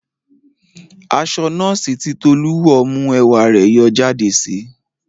Aṣọ nọ́ọ̀sì tí Tolú wọ̀ mú ẹwà rẹ̀ yọ jáde síi